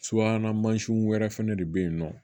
Subahana mansinw wɛrɛ fɛnɛ de bɛ yen nɔ